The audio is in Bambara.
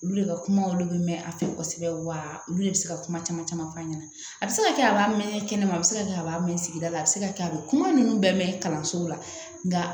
Olu de ka kuma olu bɛ mɛn a fɛ kosɛbɛ wa olu de bɛ se ka kuma caman caman f'a ɲɛna a bɛ se ka kɛ a b'a mɛn kɛnɛma a bɛ se ka kɛ a b'a mɛn sigida la a bɛ se ka kɛ a bɛ kuma ninnu bɛɛ mɛn kalanso la nka